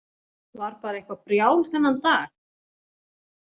Var bara eitthvað brjál þennan dag.